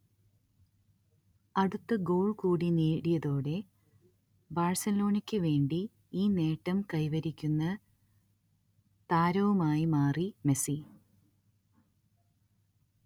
അടുത്ത ഗോൾ കൂടി നേടിയതോടെ ബാഴ്സലോണക്ക് വേണ്ടി ഈ നേട്ടം കൈവരിക്കുന്ന താരവുമായി മാറി മെസ്സി